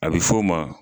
A bɛ f'o ma